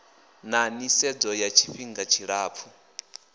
na nisedzo ya tshifihnga tshilapfu